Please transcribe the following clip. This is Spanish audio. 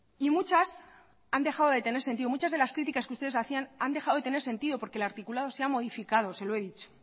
y muchas han dejado de tener sentido muchas de las críticas que ustedes hacían han dejado de tener sentido porque el articulado se ha modificado se lo he dicho